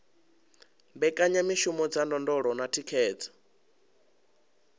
mbekanyamishumo dza ndondolo na thikhedzo